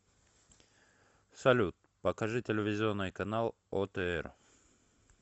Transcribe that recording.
салют покажи телевизионный канал отр